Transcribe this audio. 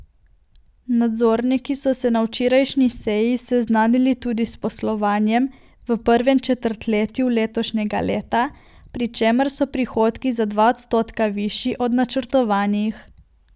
Nadzorniki so se na včerajšnji seji seznanili tudi s poslovanjem v prvem četrtletju letošnjega leta, pri čemer so prihodki za dva odstotka višji od načrtovanih.